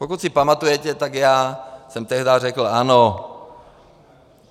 Pokud si pamatujete, tak já jsem tehdy řekl ano.